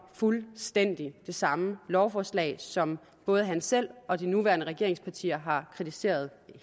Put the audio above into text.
fuldstændig det samme lovforslag som både han selv og de nuværende regeringspartier har kritiseret